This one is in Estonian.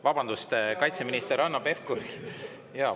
Vabandust, kaitseminister Hanno Pevkuril.